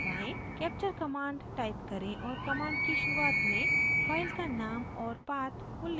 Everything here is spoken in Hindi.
capture command type करें और command की शुरुआत में file का name और path उल्लिखित करें